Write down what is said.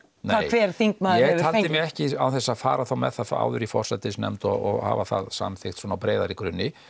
hver þingmaður hefur fengið mig ekki án þess að fara þá með það áður í forsætisnefnd og hafa það samþykkt svona á breiðari grunni